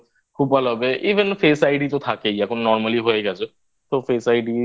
খুব ভালো হবে Even face id তো থাকেই এখন Normally হয়ে গেছে তো Face Id